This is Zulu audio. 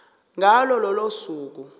ngalo lolo suku